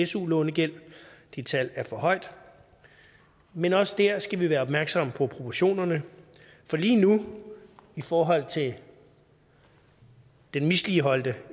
su lånegæld det tal er for højt men også der skal vi være opmærksomme på proportionerne for lige nu i forhold til den misligholdte